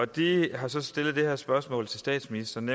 de har så stillet det her spørgsmål til statsministeren